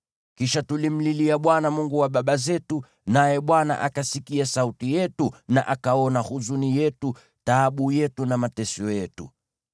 Kisha tulimlilia Bwana , Mungu wa baba zetu, naye Bwana akasikia sauti yetu na akaona huzuni yetu, taabu yetu na mateso yetu.